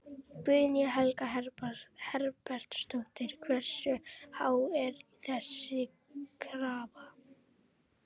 Guðný Helga Herbertsdóttir: Hversu há er þessi krafa?